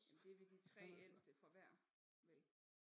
Ja men det vil de 3 ældste fra hver vel